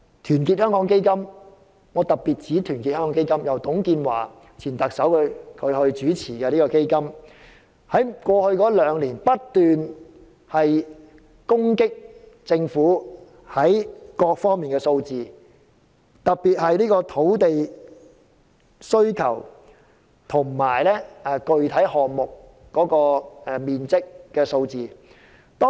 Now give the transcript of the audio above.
團結香港基金——我特別指出這個由前特首董建華主持的基金——過去兩年不斷攻擊政府各方面的數字，特別是土地需求和具體項目所能提供的土地面積。